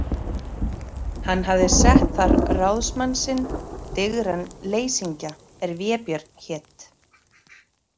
Hann hafði sett þar ráðsmann sinn, digran leysingja er Vébjörn hét.